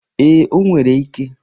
Ee, o nwere ike.